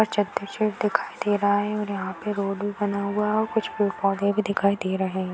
और चदर शेड दिखाई दे रहा है और यहां पे रोड भी बना हुआ है और कुछ पेड़-पौधे भी दिखाई दे रहे है।